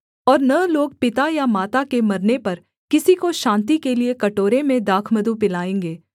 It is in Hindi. और न लोग पिता या माता के मरने पर किसी को शान्ति के लिये कटोरे में दाखमधु पिलाएँगे